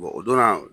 o donna